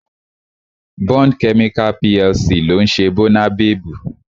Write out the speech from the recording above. Bond Chemical PLC ló ń ṣe Bónabebu